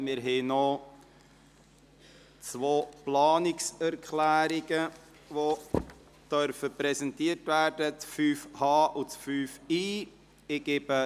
Wir haben noch zwei Planungserklärungen, die präsentiert werden dürfen: 5.h und 5.i.